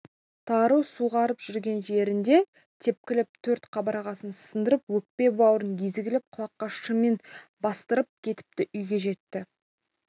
тары суғарып жүрген жерінде тепкілеп төрт қабырғасын сындырып өкпе-бауырын езгілеп құлаққа шыммен бастырып кетіпті үйге жетті